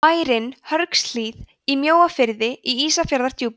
bærinn hörgshlíð í mjóafirði í ísafjarðardjúpi